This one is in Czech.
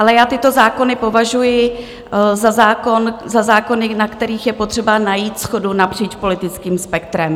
Ale já tyto zákony považuji za zákony, na kterých je potřeba najít shodu napříč politickým spektrem.